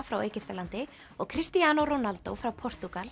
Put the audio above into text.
frá Egyptalandi og Cristiano Ronaldo frá Portúgal